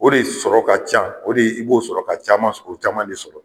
O de sɔrɔ ka ca o de i b'o sɔrɔ ka caman sɔrɔ o caman de sɔrɔ